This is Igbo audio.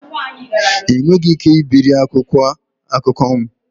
Ị nweghị ike ibiri akwụkwọ akụkọ m